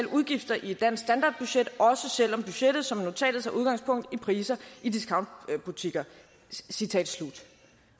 udgifterne i et dansk standardbudget også selvom budgettet som i notatet tager udgangspunkt i priser i discountbutikker